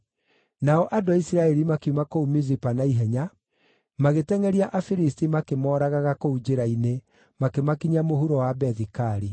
Nao andũ a Isiraeli makiuma kũu Mizipa naihenya, magĩtengʼeria Afilisti makĩmooragaga kũu njĩra-inĩ, makĩmakinyia mũhuro wa Bethi-Kari.